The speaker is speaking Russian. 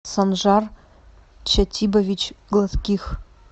санжар чатибович гладких